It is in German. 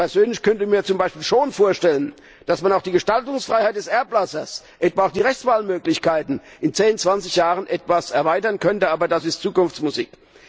Ich persönlich könnte mir zum Beispiel schon vorstellen, dass man auch die Gestaltungsfreiheit des Erblassers und etwa auch die Rechtswahlmöglichkeiten in zehn, zwanzig Jahren etwas erweitern könnte, aber das ist Zukunftsmusik.